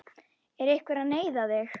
Er einhver að neyða þig?